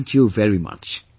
Thank you very much